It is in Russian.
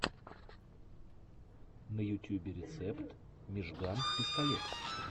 на ютюбе рецепт мижган пистолет